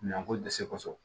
Nako dɛsɛ kosɛ